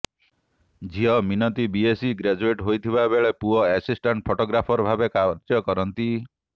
ଝିଅ Minati BSc graduate ହୋଇଥିବାବେଳେ ପୁଅ ଏସିଷ୍ଟାଂଟ ଫଟୋଗ୍ରାଫର ଭାବରେ କାର୍ଯ୍ୟ କରନ୍ତି